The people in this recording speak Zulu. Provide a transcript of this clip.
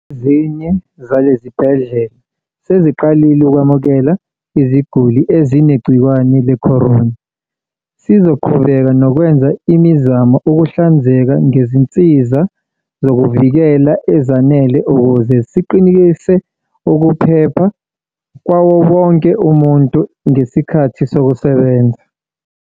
"Ezinye zalezi zibhedlela seziqalile ukwamukela iziguli ezinegciwane le-corona." Sizoqhubeka nokwenza imizamo ukuhlinzeka ngezinsiza zokuzivikela ezanele ukuze siqinisekise ukuphepha kwawo wonke umuntu ngesikhathi esemsebenzini.